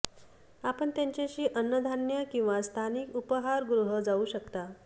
आपण त्यांच्याशी अन्न धान्य किंवा स्थानिक उपहारगृह जाऊ शकता